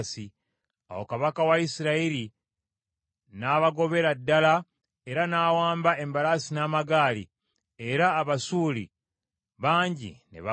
Awo kabaka wa Isirayiri n’abagobera ddala era n’awamba embalaasi n’amagaali, era Abasuuli bangi ne bafa.